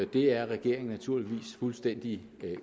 det er regeringen naturligvis fuldstændig